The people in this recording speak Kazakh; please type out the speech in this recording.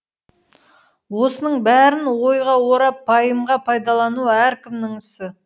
осының бәрін ойға орап пайымға пайдалану әркімнің ісі